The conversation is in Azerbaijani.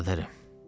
Biraderim.